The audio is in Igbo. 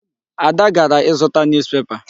Ada gara ịzụta newspaper.